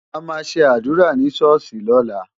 A máa ṣe àdúrà ni ṣọ́ọ̀ṣì lọ́la.